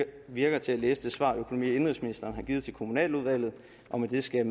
virker til at læse det svar økonomi og indenrigsministeren har givet til kommunaludvalget og med det skal